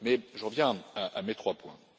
Mais je reviens à mes trois points.